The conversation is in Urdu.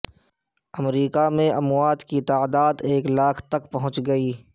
امریکہ میں اموات کی تعداد ایک لاکھ تک پہنچ گئی